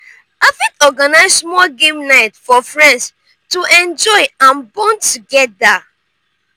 i fit organize small game night for friends to enjoy and bond together.